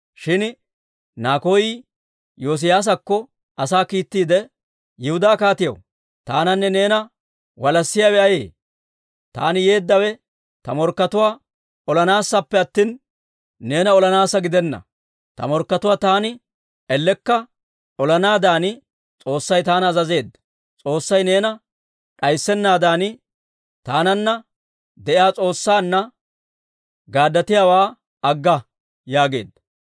Shin Nakoy Yoosiyaasakko asaa kiittiide, «Yihudaa kaatiyaw, taananne neena walassiyaawe ayee? Taani yeeddawe ta morkkatuwaa olanaassappe attina, neena olanaassa gidenna. Ta morkkatuwaa taani ellekka olanaadan S'oossay taana azazeedda. S'oossay neena d'ayssennaadan, taananna de'iyaa S'oossaanna gaaddatiyaawaa agga» yaageedda.